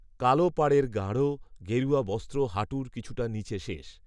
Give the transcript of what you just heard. কালো পাড়ের গাঢ়, গেরুয়া বস্ত্র হাঁটুর কিছুটা নীচে শেষ